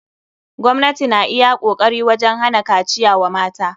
Gwamnati na iya kokari wajen hana kaciya wa mata.